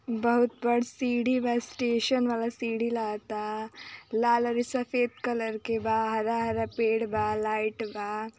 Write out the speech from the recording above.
बहुत बड़ सीढ़ी बा | स्टेशन वाला सीढ़ी लागा ता लाल और सफ़ेद कलर के बा | हरा हरा पेड़ बा लाइट बा।